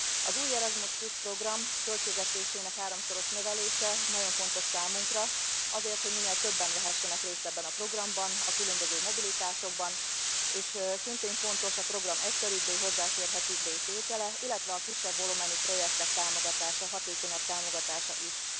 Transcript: Az új Erasmus Plus program költségvetésének háromszoros növelése nagyon fontos számunkra azért, hogy minél többen vehessenek részt ebben a programban, a különböző mobilitásokban, és szintén fontos a program egyszerűbbé, hozzáférhetőbbé tétele, illetve a kisebb volumenű projektek támogatása, hatékonyabb támogatása is.